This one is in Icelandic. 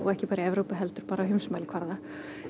ekki bara í Evrópu heldur á heimsmælikvarða